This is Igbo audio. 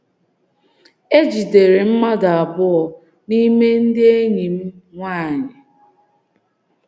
E jidere mmadụ abụọ n’ime ndị enyi um m nwanyị.